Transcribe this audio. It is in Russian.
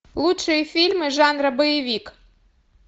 лучшие фильмы жанра боевик